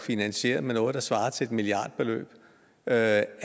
finansieret med noget der svarer til et milliardbeløb af